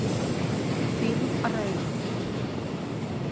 фильм рэй